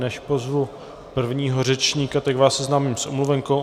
Než pozvu prvního řečníka, tak vás seznámím s omluvenkou.